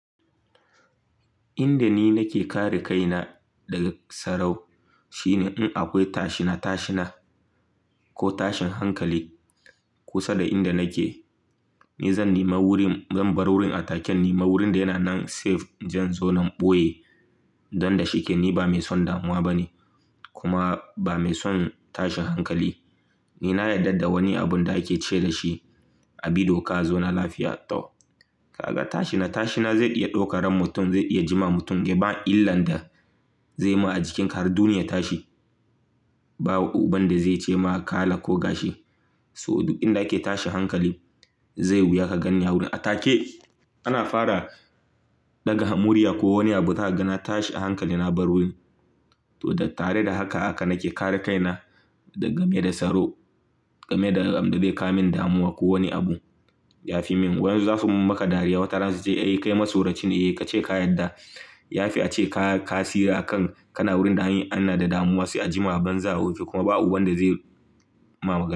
Inda ni nake kare kaina daga sarau shine in akwai tashina tashina ko tashin hankali kusa da inda nake, ni zan bar wurin a taken, in nima wurin da yana nan safe inje in zauna in ɓoye don da shike. Ni ba mai son damuwa bane kuma ba mai son tashin hankali. Ni na yarda da wani abun da ake ce dashi a bi doka a zauna lafiya tau. Ka ga tashina tashina zai iya dauka ran mutum, zai iya jima mutum. Ba illan da zai ma ajikin ka har duniya ya tashi. Ba uban da zai ce ma kala ko gashi. So duk inda ake tashin hankali zai wuya ka ganni a wurin a take ana fara ɗaga murya ko wani abu zahaga na tashi a hankali na bar wurin. To tare da haka ahaka nake kare kaina da game da saro, game da abinda zai kamin damuwa ko wani abu yafi min. Wayansu zasu maka dariya wataran su ce ai kai masoraci ne, eh ka ce ka yadda yafi a ce ka tsira a kan kana wurin da anyi ana da damuwa sai a jima a banza a wofi kuma ba uban da zai ma maga.